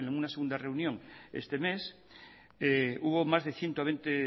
una segunda reunión este mes hubo más de ciento veinte